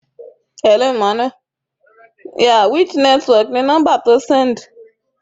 Mo fò fáyọ̀ nígbà tí mo gbọ́ pé Tọ́lání bímọ.